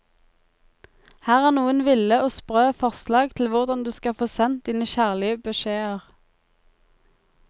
Her er noen ville og sprø forslag til hvordan du skal få sendt dine kjærlige beskjeder.